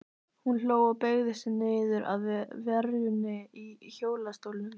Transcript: Hún hló og beygði sig niður að verunni í hjólastólnum.